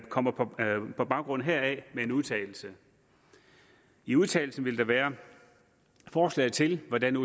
kommer på baggrund heraf med en udtalelse i udtalelsen vil der være forslag til hvordan